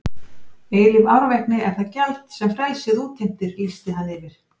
Eilíf árvekni er það gjald sem frelsið útheimtir lýsti hann yfir.